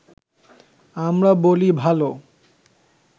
আমরা বলি ভালো